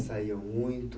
Saíam muito?